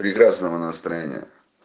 прекрасного настроения